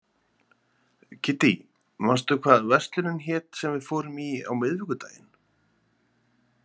Kiddý, manstu hvað verslunin hét sem við fórum í á miðvikudaginn?